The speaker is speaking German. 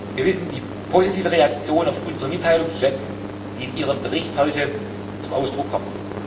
Wir wissen die positive Reaktion auf unsere Mitteilung zu schätzen, die in Ihrem Bericht heute zum Ausdruck kommt.